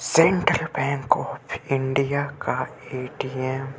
Central bank of India का ATM. --